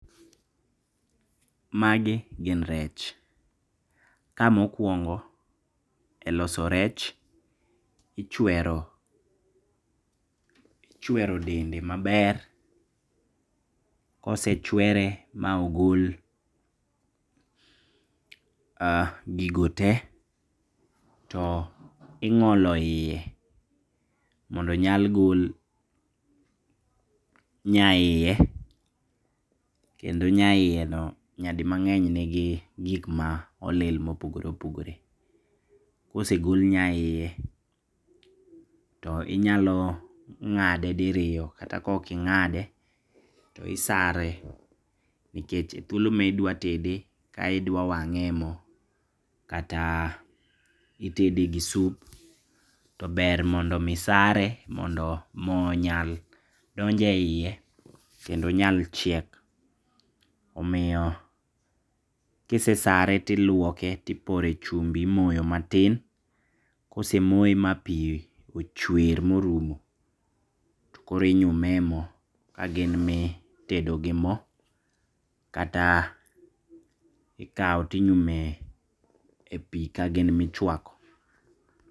Magi gin rech. Ka mokuongo e loso rech, ichwero ichwero dende maber. Kosechwere ma ogol gigo te to ing'olo yie mondo onyal gol nyayie kendo nyayie no nyadimang'eny ni gi gik ma olil ma opogore opogore. Kosegol nyayie to inyalo ng'ade diriyo kata kok ing'ade to isare nikech e thuolo midwatede ka idwa wang'e e mo kata itede gi sup to ber mondo mi sare mondo mo nyal donje yie kendo nyal chiek. Omiyo kisesare tiluoke tipore chumbi imoyo matin. Kosemoye ma pi ochwer morumo tokoro inyume mo ka gin mitedo gi mo kata ikaw tinyume e pi kagin michwako.